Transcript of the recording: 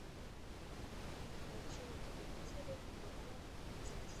включи на телевизоре бро бизнес